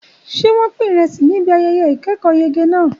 Ṣé wọ́n pín ìrẹsì níbi ayẹyẹ ìkẹ́kọ̀ọ́yege náà?